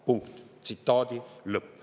" Punkt!